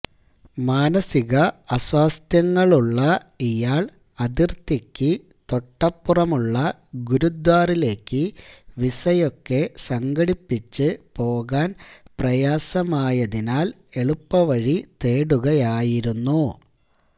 മാനസിക അസ്വാസ്ഥ്യങ്ങളുള്ള ഇയാള് അതിർത്തിക്ക് തൊട്ടപ്പുറമുള്ള ഗുരുദ്വാറിലേക്ക് വിസയൊക്കെ സംഘടിപ്പിച്ച് പോകാൻ പ്രയാസമായതിനാല് എളുപ്പവഴി തേടുകയായിരുന്നു